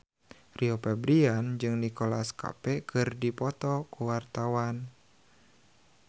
Rio Febrian jeung Nicholas Cafe keur dipoto ku wartawan